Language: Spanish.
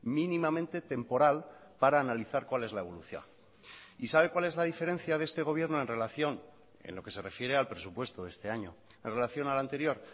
mínimamente temporal para analizar cuál es la evolución y sabe cuál es la diferencia de este gobierno en relación en lo que se refiere al presupuesto de este año en relación al anterior